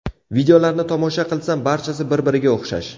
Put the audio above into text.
Videolarni tomosha qilsam, barchasi bir-biriga o‘xshash.